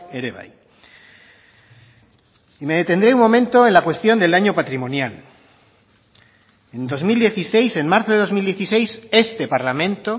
ere bai y me detendré un momento en la cuestión del año patrimonial en dos mil dieciséis en marzo de dos mil dieciséis este parlamento